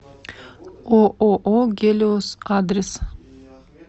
ооо гелиос адрес